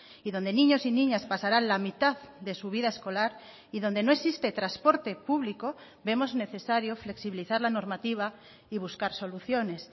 y donde niños y niñas pasarán la mitad de su vida escolar y donde no existe transporte público vemos necesario flexibilizar la normativa y buscar soluciones